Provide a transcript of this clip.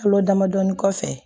Kalo damadɔni kɔfɛ